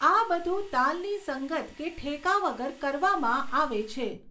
આ બધું તાલની સંગત કે ઠેકા વગર કરવામાં આવે છે.